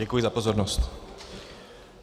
Děkuji za pozornost.